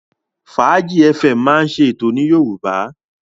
Fàájí fm máa ń ṣe ètò ní Yorùbá.